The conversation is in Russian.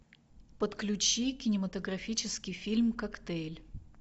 подключи кинематографический фильм коктейль